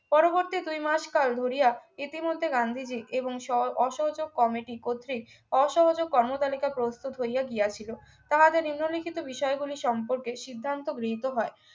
পরবর্তী দুই মাস কাল ধরিয়া ইতিমধ্যে গান্ধীজি এবং সর অসহযোগ কমিটি কর্তৃক অসহযোগ কর্মতালিকা প্রস্তুত হইয়া গিয়াছিল তাহাদের নিম্নলিখিত বিষয়গুলি সম্পর্কে সিদ্ধান্ত গৃহীত হয়